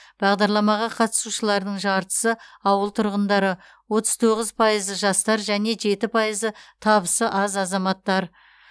бағдарламаға қатысушылардың жартысы ауыл тұрғындары отыз тоғыз пайызы жастар және жеті пайызы табысы аз азаматтар